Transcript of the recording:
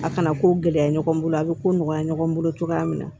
A kana ko gɛlɛya ɲɔgɔn bolo a bɛ ko nɔgɔya ɲɔgɔn bolo cogoya min na